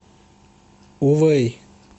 увэй